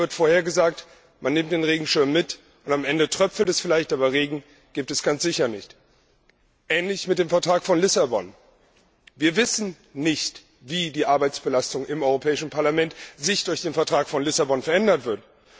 Regen wird vorhergesagt, man nimmt den Regenschirm mit, und am Ende tröpfelt es vielleicht, aber Regen gibt es ganz sicher nicht. Ähnlich ist es mit dem Vertrag von Lissabon Wir wissen nicht, wie sich die Arbeitsbelastung im Europäischen Parlament durch den Vertrag von Lissabon verändern wird.